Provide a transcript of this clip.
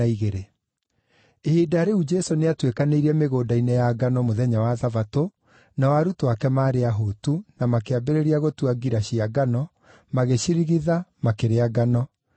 Ihinda rĩu Jesũ nĩatuĩkanĩirie mĩgũnda-inĩ ya ngano mũthenya wa Thabatũ, na arutwo ake maarĩ ahũtu, na makĩambĩrĩria gũtua ngira cia ngano, magĩcirigitha, makĩrĩa ngano.